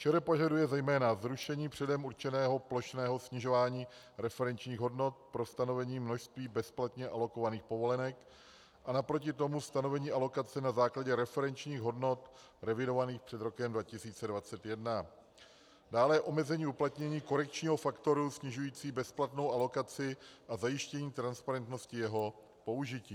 ČR požaduje zejména zrušení předem určeného plošného snižování referenčních hodnot pro stanovení množství bezplatně alokovaných povolenek a naproti tomu stanovení alokace na základě referenčních hodnot revidovaných před rokem 2021; dále omezení uplatnění korekčního faktoru snižujícího bezplatnou alokaci a zajištění transparentnosti jeho použití;